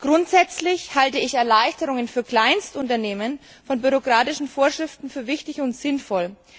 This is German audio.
Grundsätzlich halte ich Erleichterungen für Kleinstunternehmen von bürokratischen Vorschriften für wichtig und sinnvoll.